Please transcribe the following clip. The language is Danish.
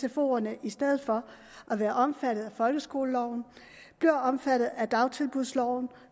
at sfoerne i stedet for at være omfattet af folkeskoleloven bliver omfattet af dagtilbudsloven